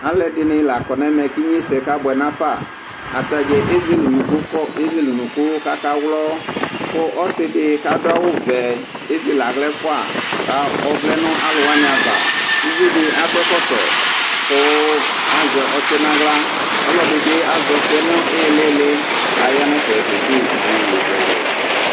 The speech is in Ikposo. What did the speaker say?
alu ɛdini la kɔ nu ɛmɛ ku ignesɛ ka bʋɛ nu afa , ata dza ezele unuku kɔ, ezele unuku ku aka wlɔ, ku ɔsi di ku adu awu vɛ ezele aɣla ɛfuɛ ku ɔvlɛ nu alu wʋani ava, uvi di akɔ ɛkɔtɔ kɔ azɛ ɔsiɛ nu aɣla, ɔlɔdi bi azɛ ɔsiɛ nu ilili, kaya nu ɛfɛ ke de yeye zɛlɛ